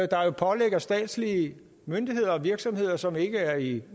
der jo pålægger statslige myndigheder og virksomheder som ikke er i